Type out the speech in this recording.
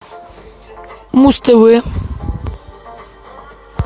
муз тв